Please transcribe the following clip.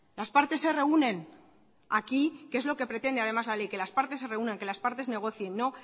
las partes se reúnen aquí que es lo que pretende además la ley que las partes se reúnan que las partes negocien no